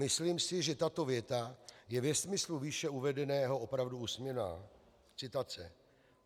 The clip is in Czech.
Myslím si, že tato věta je ve smyslu výše uvedeného opravdu úsměvná.